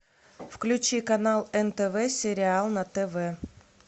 включи канал нтв сериал на тв